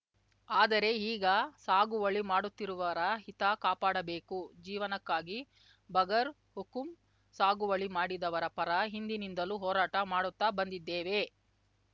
ಆದರೆ ಈಗ ಸಾಗುವಳಿ ಮಾಡುತ್ತಿರುವರ ಹಿತ ಕಾಪಾಡಬೇಕು ಜೀವನಕ್ಕಾಗಿ ಬಗರ್ ಹುಕುಂ ಸಾಗುವಳಿ ಮಾಡಿದವರ ಪರ ಹಿಂದಿನಿಂದಲೂ ಹೋರಾಟ ಮಾಡುತ್ತ ಬಂದಿದ್ದೇವೆ